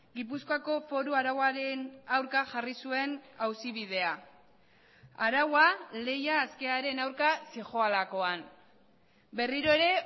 gipuzkoako foru arauaren aurka jarri zuen auzi bidea araua lehia askearen aurka zihoalakoan berriro ere